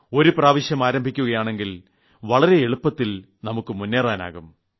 ഒരു പ്രാവശ്യം ആരംഭിക്കുകയാണെങ്കിൽ വളരെ എളുപ്പത്തിൽ നമുക്ക് മുന്നേറാനാവും